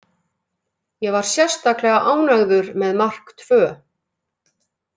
Ég var sérstaklega ánægður með mark tvö.